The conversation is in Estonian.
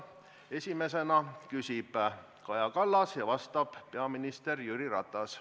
Esimesena küsib Kaja Kallas ja vastab peaminister Jüri Ratas.